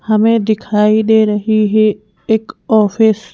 हमें दिखाई दे रही है एक ऑफिस --